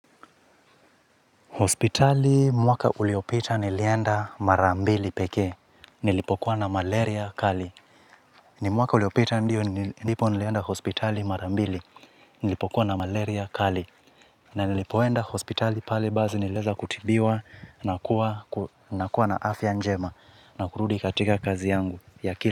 Hospitali mwaka uliopita nilienda mara mbili pekee, nilipokuwa na malaria kali. Ni mwaka uliopita ndio nilipo nilienda hospitali mara mbili, nilipokuwa na malaria kali. Na nilipoenda hospitali pale basi nilieza kutibiwa na kuwa na kuwa na afya njema na kurudi katika kazi yangu.